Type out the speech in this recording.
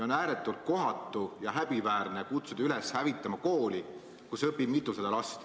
On ääretult kohatu ja häbiväärne kutsuda üles hävitama kooli, kus õpib mitusada last.